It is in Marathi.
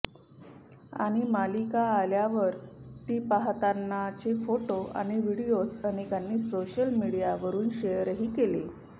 आणि मालिका आल्यावर ती पाहतानाचे फोटो आणि व्हिडीयोज अनेकांनी सोशल मीडिवरून शेअरही केले